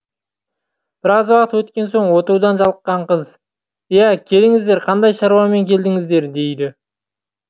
біраз уақыт өткен соң отырудан жалыққан қыз иә келіңіздер қандай шаруамен келдіңіздер дейді